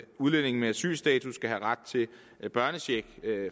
udlændinge med asylstatus skal have ret til børnecheck